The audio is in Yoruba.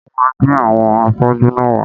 Wón máa gbé àwọn afọ́jú náà wá